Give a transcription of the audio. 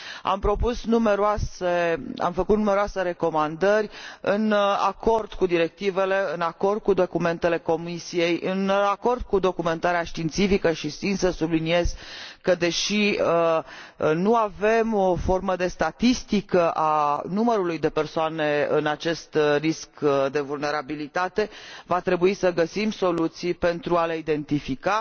Am făcut numeroase recomandări în acord cu directivele, cu documentele Comisiei și cu documentarea științifică și țin să subliniez că, deși nu avem o formă de statistică a numărului de persoane care prezintă acest risc de vulnerabilitate, va trebui să găsim soluții pentru a le identifica.